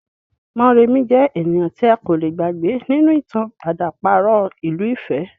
Mọ́remí jẹ́ ènìyàn tí a kò le gbàgbé nínú ìtàn àdàparo ìlú ifẹ̀